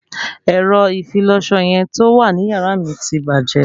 Ẹ̀rọ ìfilọṣọ yẹn tó wà ní yàrá mi ti bàjẹ́